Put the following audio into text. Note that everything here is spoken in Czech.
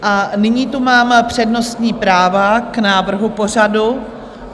A nyní tu máme přednostní práva k návrhu pořadu.